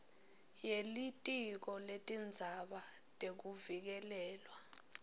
yelitiko letindzaba tekuvikelelwa